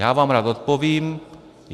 Já vám rád odpovím.